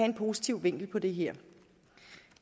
en positiv vinkel på det her